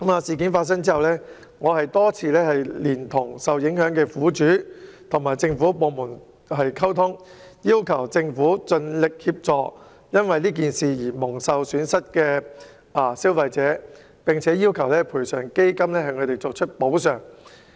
事件發生後，我多次連同受影響的苦主與政府部門溝通，要求政府盡力協助蒙受損失的消費者，並要求賠償基金向他們作出補償。